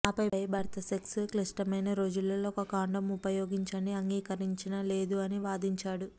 ఆపై భర్త సెక్స్ క్లిష్టమైన రోజులలో ఒక కండోమ్ ఉపయోగించండి అంగీకరించిన లేదు అని వాదించాడు